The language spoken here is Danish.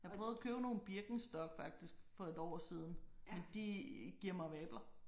Jeg prøvede at købe nogle Birkenstock faktisk for et år siden men de giver mig vabler